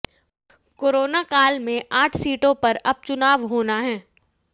corona काल में आठ सीटों पर उपचुनाव होना है